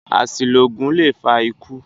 Àṣìlo oògùn lè fa ikú